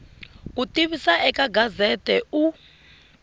ku tivisa eka gazette u